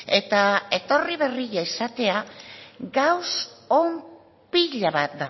eta horri berri esatea gauza on pila bat